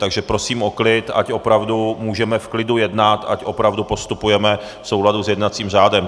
Takže prosím o klid, ať opravdu můžeme v klidu jednat, ať opravdu postupujeme v souladu s jednacím řádem.